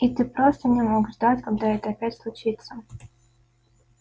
и ты просто не мог ждать когда это опять случится